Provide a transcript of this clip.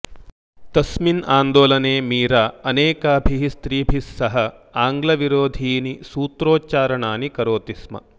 तस्मिन् आन्दोलने मीरा अनेकाभिः स्त्रीभिस्सह आङ्ग्लविरोधीनि सूत्रोच्चारणानि करोति स्म